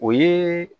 O ye